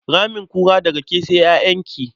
Ramin kura, daga ke sai ƴaƴanki.